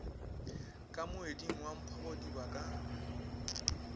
ka moeding wa mphogodiba ka